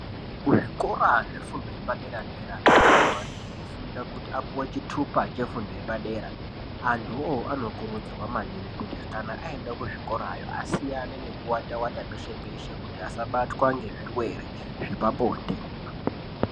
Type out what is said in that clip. Zvikora zvefundo yepadera dera zvevantu anenge eifunda kuti apiwe chitupa chefundo yepadera antu iwowo anokurudzirwa maningi kuti kana aende kuzvikora yoo asiyane nekuwata wata peshe peshe kuti asabatwa ngezvirwere zvepabonde.